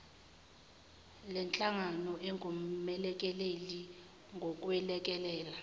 lenhlangano engumelekeleli ngokwelekelela